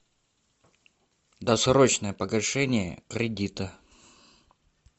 досрочное погашение кредита